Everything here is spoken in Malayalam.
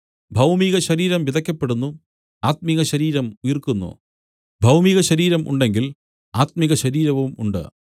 ഭൗമികശരീരം വിതയ്ക്കപ്പെടുന്നു ആത്മികശരീരം ഉയിർക്കുന്നു ഭൗമികശരീരം ഉണ്ടെങ്കിൽ ആത്മിക ശരീരവും ഉണ്ട്